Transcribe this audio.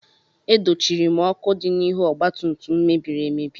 E dochiri m ọkụ dị n'ihu ọgbatumtum m mebiri emebi.